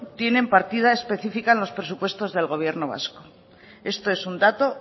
tienen partida específica en los presupuestos del gobierno vasco esto es un dato